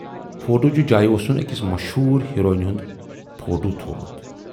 Photo ہٕچ جایہِ اوسُن ٲکِس مشہوٗر ہیروینہٕ ہُند فوٹو تھوومُت۔